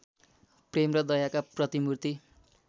प्रेम र दयाका प्रतिमूर्ति